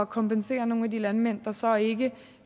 kompensere nogle af de landmænd der så ikke